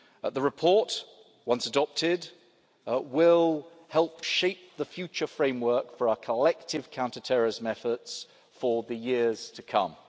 The report, once adopted, will help shape the future framework for our collective counterterrorism efforts for the years to come.